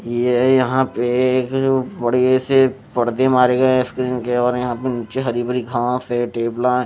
ये यहां पे बड़े से पर्दे मारे गए हैं स्क्रीन के और हरीबरी घास है टेबल आ वि --